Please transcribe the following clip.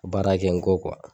Baara kɛ n kɔ kuwa.